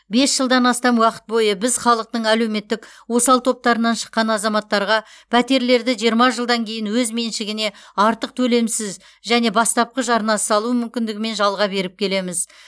бес жылдан астам уақыт бойы біз халықтың әлеуметтік осал топтарынан шыққан азаматтарға пәтерлерді жиырма жылдан кейін өз меншігіне артық төлемсіз және бастапқы жарнасыз алу мүмкіндігімен жалға беріп келеміз